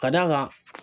Ka d'a kan